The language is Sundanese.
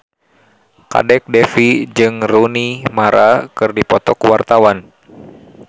Kadek Devi jeung Rooney Mara keur dipoto ku wartawan